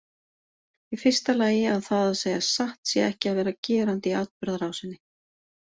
Í fyrsta lagi að það að segja satt sé ekki að vera gerandi í atburðarásinni.